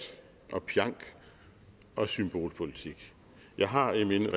og pjank og symbolpolitik jeg har i min